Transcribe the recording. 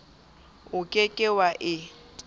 o ke ke wa e